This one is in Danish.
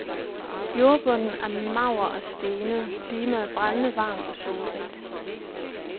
Jordbunden er mager og stenet, klimaet brændende varmt og solrigt.